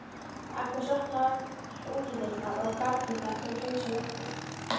Agnes opnar útidyrnar og garðdyrnar til að hreinsa loftið.